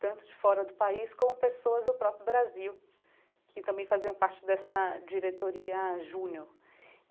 tanto de fora do país como pessoas do próprio Brasil, que também faziam parte dessa diretoria Júnior.